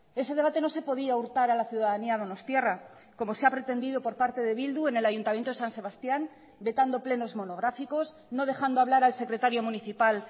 ese debate no se podía hurtar a la ciudadanía donostiarra como se ha pretendido por parte de bildu en el ayuntamiento de san sebastián vetando plenos monográficos no dejando hablar al secretario municipal